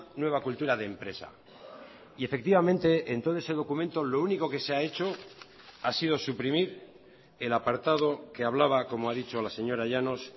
nueva cultura de empresa y efectivamente en todo ese documento lo único que se ha hecho ha sido suprimir el apartado que hablaba como ha dicho la señora llanos